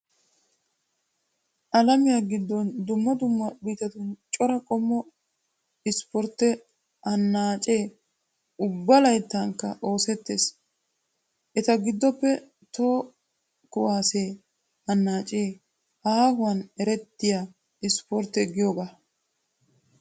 Alamiya giddon dumma dumma biittatun cora qommo ipportte annaacee ubba layttankka oosettees. Eta giddoppe toho kuwaasse annaacee aahuwan erettiya ispportte giyoogaa.